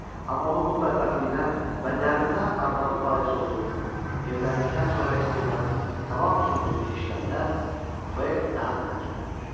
Amma onun bu bədbəxtliyinə və dərdinə arvadı bais olduğunu, evləndikdən sonra istedadının tamam söndüyünü eşidəndə, B daha da təəccüblənir.